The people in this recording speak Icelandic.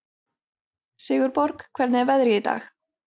Sigurborg, hvernig er veðrið í dag?